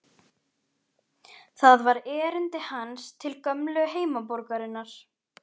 Það var erindi hans til gömlu heimaborgarinnar.